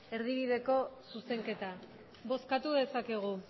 erdibideko zuzenketa bozkatu dezakegu